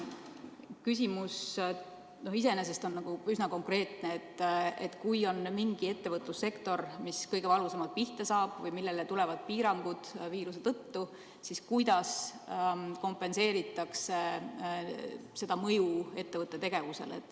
Küsimus iseenesest on üsna konkreetne: kui on mingi ettevõtlussektor, mis kõige valusamalt pihta saab, millele kehtivad piirangud viiruse tõttu, siis kuidas kompenseeritakse selle mõju ettevõtete tegevusele?